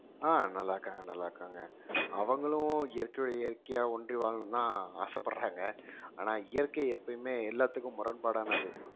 ஆஹ் நல்லா இருக்காங்க நல்லா இருக்காங்க அவங்களும் இயற்கையோட இயற்கையா ஒன்றி வாழணும்ன்னுதான் ஆசைப்படுறாங்க ஆனா இயற்கை எப்பயுமே எல்லாத்துக்கும் முரண்பாடானது